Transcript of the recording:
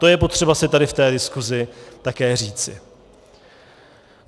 To je potřeba si tady v té diskusi také říci.